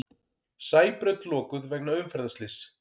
Sæbraut lokuð vegna umferðarslyss